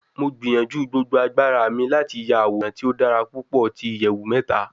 Mo gbiyanju gbogbo agbara mi lati ya aworan ti o dara pupọ ti iyẹwu mẹta